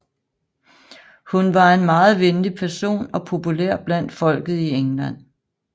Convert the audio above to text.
Hun var en meget venlig person og populær blandt folket i England